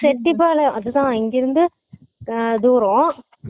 செட்டிப்பாளையம் அதுதான் இங்க இருந்து தூரம்